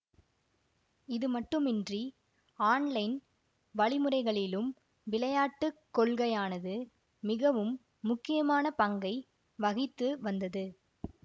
இது மட்டுமின்றி ஆன்லைன் வழிமுறைகளிலும் விளையாட்டு கொள்கையானது மிகவும் முக்கியமான பங்கை வகித்து வந்தது